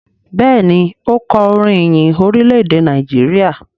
Béèni o kò orin ìyìn Orilẹ-ede Nàìjíríà.